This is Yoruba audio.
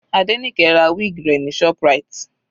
Adenike ra wig rẹ̀ ní ShopRite.